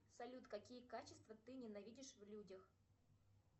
салют какие качества ты ненавидишь в людях